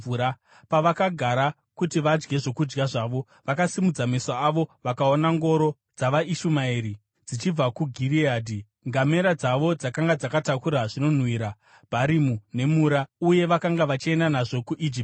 Pavakagara kuti vadye zvokudya zvavo, vakasimudza meso avo vakaona ngoro dzavaIshumaeri dzichibva kuGireadhi. Ngamera dzavo dzakanga dzakatakura zvinonhuhwira, bharimu nemura, uye vakanga vachienda nazvo kuIjipiti.